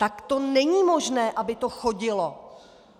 Tak to není možné, aby to chodilo!